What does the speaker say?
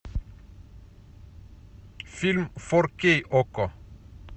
фильм фор кей окко